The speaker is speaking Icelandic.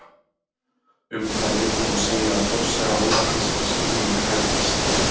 Um það leyti má segja að forsaga ólympískra skylminga hefjist.